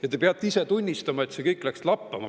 Ja te peate ise tunnistama, et see kõik läks lappama.